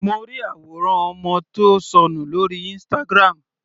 Mo ri àwòrán ọmọ tí ó sọnù lórí Instagram.